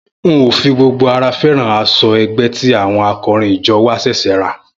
N ò fi gbogbo ara fé̩ràn as̩o̩ ẹgbẹ́ tí àwo̩n ako̩rin ijo̩ wa s̩è̩s̩è̩ rà